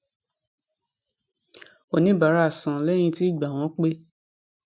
oníbàárà san lẹyìn tí ìgbà wọn pé